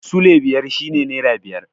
Sule biyar shi ne nera biyar